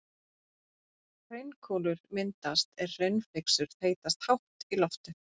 Hraunkúlur myndast er hraunflygsur þeytast hátt í loft upp.